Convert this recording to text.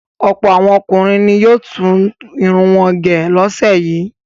Ọ̀pọ̀ àwọn ọkùnrin ni yóò tún irun wọn gẹ̀ lọ́sẹ̀ yìí.